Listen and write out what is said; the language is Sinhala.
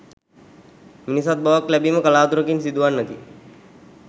මිනිසත් බවක් ලැබීම කලාතුරකින් සිදුවන්නකි.